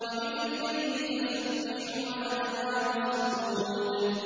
وَمِنَ اللَّيْلِ فَسَبِّحْهُ وَأَدْبَارَ السُّجُودِ